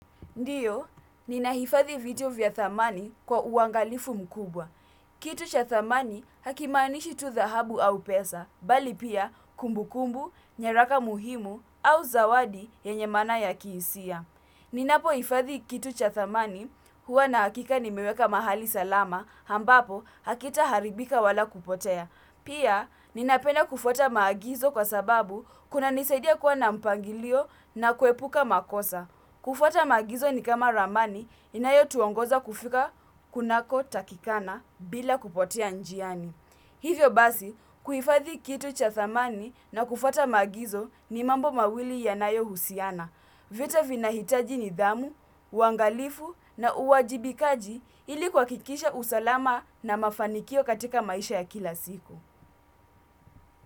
Ndiyo, ninahifadhi vitu vya thamani kwa uangalifu mkubwa. Kitu cha thamani hakimanishi tu dhahabu au pesa, bali pia kumbu kumbu, nyaraka muhimu au zawadi yenye maana ya kihisia. Ninapo hifadhi kitu cha thamani huwa nahakika nimeweka mahali salama, ambapo hakita haribika wala kupotea. Pia, ninapenda kufuata maagizo kwa sababu kuna nisadia kuwa na mpangilio na kuepuka makosa. Kufuata maagizo ni kama ramani inayo tuongoza kufika kunako takikana bila kupotea njiani. Hivyo basi, kuhifathi kitu cha thamani na kufuata maagizo ni mambo mawili yanayo husiana. Vyote vinahitaji nidhamu uangalifu na uajibikaji ili kuhakikisha usalama na mafanikio katika maisha ya kila siku.